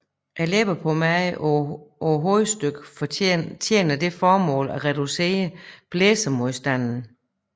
Læbepladen på hovedstykket tjener det formål at reducere blæsemodstanden